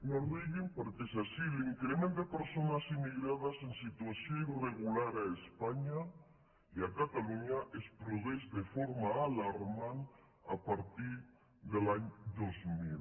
no riguin perquè és així l’in·crement de persones immigrades en situació irregular a espanya i a catalunya es produeix de forma alarmant a partir de l’any dos mil